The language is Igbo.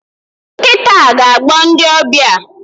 Nkita a ga-agbọ ndị ọbịa